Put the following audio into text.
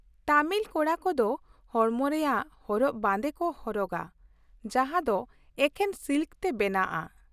ᱛᱟᱹᱢᱤᱞ ᱠᱚᱲᱟ ᱠᱚᱫᱚ ᱦᱚᱲᱢᱚ ᱨᱮᱭᱟᱜ ᱦᱚᱨᱚᱜ ᱵᱟᱸᱫᱮ ᱠᱚ ᱦᱚᱨᱚᱜᱟ ᱡᱟᱦᱟᱸ ᱫᱚ ᱮᱠᱷᱮᱱ ᱥᱤᱞᱠ ᱛᱮ ᱵᱮᱱᱟᱣᱼᱟᱜ ᱾